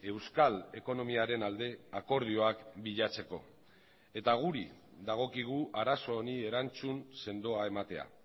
euskal ekonomiaren alde akordioak bilatzeko eta guri dagokigu arazo honi erantzun sendoa ematea